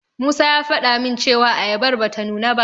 Musa ya faɗa min cewa ayabar bata nuna ba.